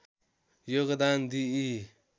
योगदान दिई